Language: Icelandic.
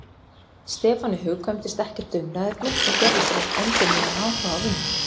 Stefáni hugkvæmdist ekkert umræðuefni og gerði sér upp endurnýjaðan áhuga á vinnunni.